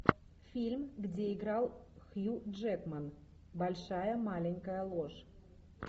фильм где играл хью джекман большая маленькая ложь